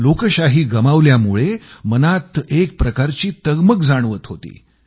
लोकशाही गमावल्यामुळं मनात एक प्रकारची तगमग जाणवत होती